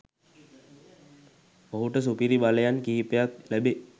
ඔහුට සුපිරි බලයන් කිහිපයක් ලැබේ